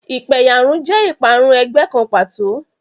Ìpẹ̀yàrun jẹ́ ìparun ẹgbẹ́ kan pàtó.